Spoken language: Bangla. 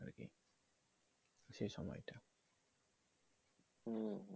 সে সময়টা